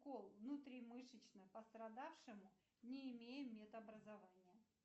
укол внутримышечно пострадавшему не имея медобразования